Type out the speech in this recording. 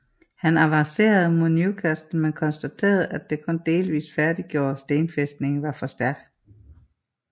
Han avancerede mod Newcastle men konstaterede at den kun delvist færdiggjorte stenfæstning var for stærk